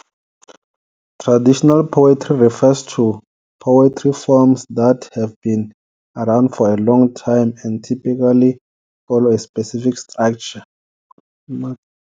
"Traditional poetry refers to poetry forms that have been around for a long time and typically follow a specific structure.